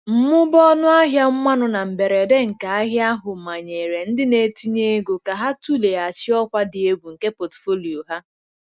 Mmụba ọnụ ahịa mmanụ na mberede nke ahịa ahụ manyere ndị na-etinye ego ka ha tụleghachi ọkwa dị egwu nke pọtụfoliyo ha.